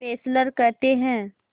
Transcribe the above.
Fessler कहते हैं